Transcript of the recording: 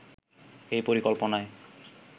এই পরিকল্পনায়